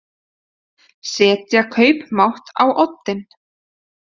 Setja kaupmátt á oddinn